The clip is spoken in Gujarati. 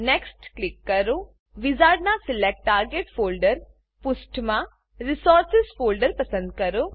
વિઝાર્ડનાં select target folder select target folder પુષ્ઠમાં રિસોર્સિસ રીસોર્સીઝ ફોલ્ડર પસંદ કરો